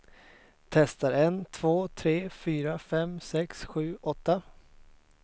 Testar en två tre fyra fem sex sju åtta.